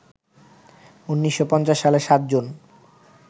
১৯৫০ সালের ৭ জুন